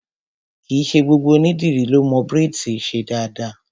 Kìí ṣe gbogbo ònídìrí lọ mo braids ṣe dáadáa.